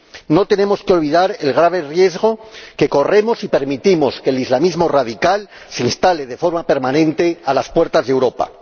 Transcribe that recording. No tenemos que olvidar el grave riesgo que corremos si permitimos que el islamismo radical se instale, de forma permanente, a las puertas de Europa.